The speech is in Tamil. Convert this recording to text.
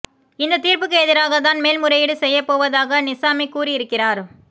இந்த தீர்ப்புக்கு எதிராக தான் மேல் முறையீடு செய்யப்போவதாக நிசாமி கூறியிருக்கிறார்